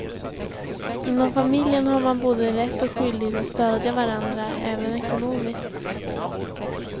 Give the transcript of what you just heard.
Inom familjen har man både rätt och skyldighet att stödja varandra, även ekonomiskt.